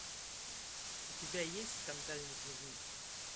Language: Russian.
у тебя есть скандальный дневник